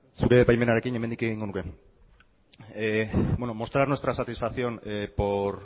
zure baimenarekin hemendik egingo nuke mostrar nuestra satisfacción por